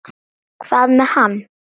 Hvað með hann?